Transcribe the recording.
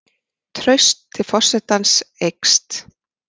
Traust til forsetans eykst